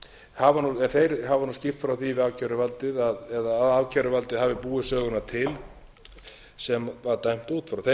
reiki þeir hafa nú skýrt frá því að ákæruvaldið eða að ákæruvaldið hafi búið söguna til sem dæmt var út frá þeim hafi